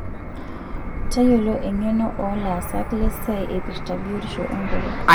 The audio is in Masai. Tayiolo engeno oolaasak lesiai eipirta biotisho enkutuk.